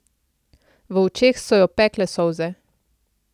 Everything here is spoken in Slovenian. V očeh so jo pekle solze.